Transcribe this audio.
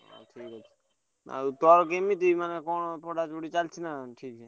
ହୁଁ ଆଉ ତୋର କେମିତି ମାନେ କଣ ପଢା ପଢି ଚାଲଚି ନା ଠିକ୍?